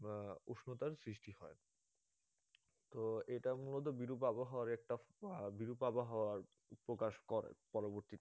আহ উষ্ণতার সৃষ্টি হয় তো এটা মূলত বিরূপ আবহাওয়ার একটা আহ বিরূপ আবহাওয়া প্রকাশ করে.